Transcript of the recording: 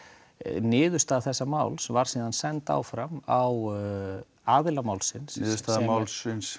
niðurstaða þessa máls var síðan send áfram á aðila málsins niðurstaða málsins